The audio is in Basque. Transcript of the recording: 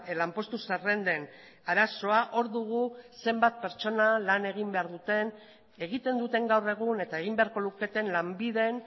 lanpostu zerrenden arazoa hor dugu zenbat pertsona lan egin behar duten egiten duten gaur egun eta egin beharko luketen lanbiden